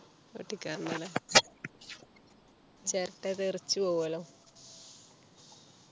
പൊട്ടിക്കാറുണ്ട് അല്ലേ ചിരട്ട തെറിച്ചു പോകുമല്ലോ